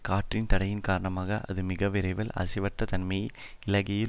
காற்றின் தடையின் காரணமாக அது மிகவிரைவில் அசைவற்ற தன்மையை இழக்கையில்